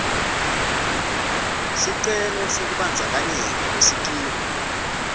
sicelo sekubandzakanyeka kusikimu